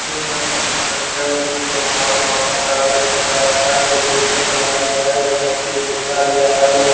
तो लग रहल हई बच्चा के खिलौना-उलोना कागज़ के काट-काट के कैसे बनावल जाय है बनवैल सिखाल जाए रहल है।